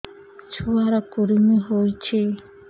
ଛୁଆ ର କୁରୁମି ହୋଇଛି